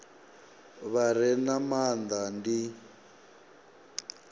vha re na maanda ndi